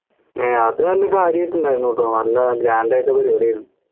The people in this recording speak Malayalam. ഏർ അത് നല്ല കാര്യായിട്ട് ഉണ്ടായിരുന്നു ട്ടോ നല്ല grand ആയിട്ട് പരിപാടിയായിരുന്നു